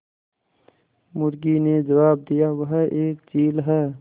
मुर्गी ने जबाब दिया वह एक चील है